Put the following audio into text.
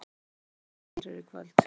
Þórlaug, hvaða leikir eru í kvöld?